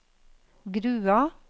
Grua